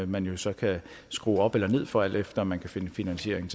man jo så kan skrue op eller ned for alt efter om man kan finde finansiering